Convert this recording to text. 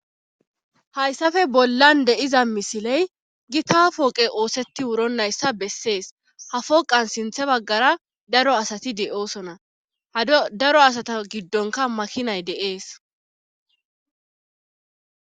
hayssafe bollan deiza misiley gi taafoqe oosetti wuronnayssa bessees hafoqan sinthe baggara daro asati de7oosona ha daro asata giddonka makinay deees